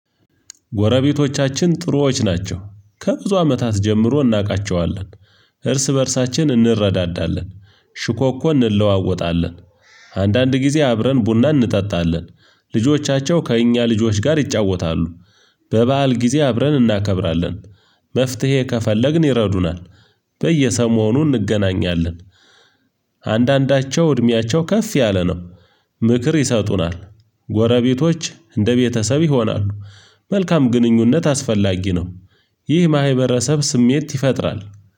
ጎረቤቶቻችን ጥሩዎች ናቸው። ከብዙ አመታት ጀምሮ እናቃቸዋለን። እርስ በእርሳችን እንረዳዳለን። ሽኮኮ እንለዋወጣለን። አንዳንድ ጊዜ አብረን ቡና እንጠጣለን። ከእኛ ልጆች ጋር ይጫወታሉ። በበዓል ጊዜ አብረን እናከብራለን። መፍትሄ ከፈለግን ይረዱናል። በየሰሞኑ እንገናኛለን። አንዳንዳቸው እድሜያቸው ከፍ ያለ ነው። ምክር ይሰጡናል። ጎረቤቶች እንደ ቤተሰብ ይሆናሉ። መልካም ግንኙነት አስፈላጊ ነው። ይህ ማሂበረሰብ ስሜት ይፈጥራል።